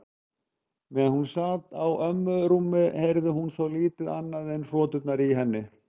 Meðan hún sat á ömmu rúmi heyrði hún þó lítið annað en hroturnar í henni.